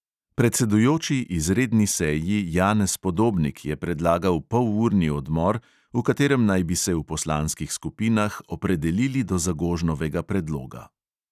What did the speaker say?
Predsedujoči izredni seji janez podobnik je predlagal polurni odmor, v katerem naj bi se v poslanskih skupinah opredelili do zagožnovega predloga.